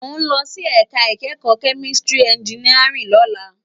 Mó n lòsí èká ikèékò kèmíká ènjìníárìn lòlá